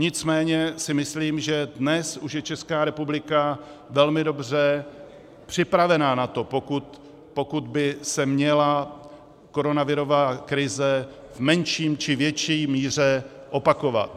Nicméně si myslím, že dnes už je Česká republika velmi dobře připravena na to, pokud by se měla koronavirová krize v menší či větší míře opakovat.